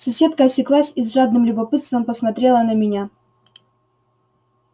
соседка осеклась и с жадным любопытством посмотрела на меня